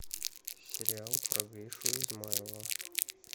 сериал про гришу измайлова